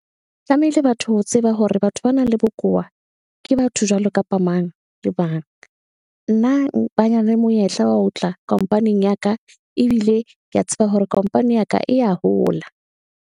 Tlamehile batho ho tseba hore batho ba nang le bokowa ke batho jwalo kapa mang le mang nna monyetla wa ho tla company-ing ya ka, ebile kea tseba hore company ya ka e ya hola.